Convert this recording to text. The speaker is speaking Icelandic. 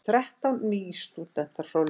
Þrettán nýstúdentar frá Laugum